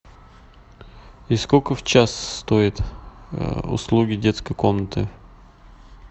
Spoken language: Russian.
и сколько в час стоит услуги детской комнаты